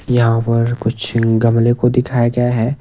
यहां पर कुछ गमले को दिखाया गया है।